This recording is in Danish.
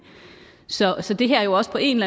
så så det her er jo også på en